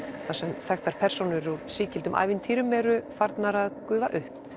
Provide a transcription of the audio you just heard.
þar sem þekktar persónur úr sígildum ævintýrum eru farnar að gufa upp